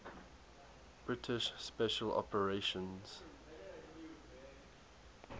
british special operations